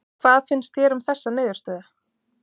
Hvað finnst þér um þessa niðurstöðu?